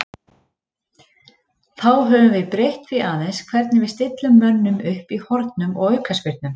Þá höfum við breytt því aðeins hvernig við stillum mönnum upp í hornum og aukaspyrnum.